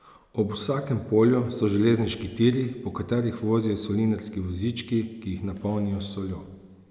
Ob vsakem polju so železniški tiri, po katerih vozijo solinarski vozički, ki jih napolnijo s soljo.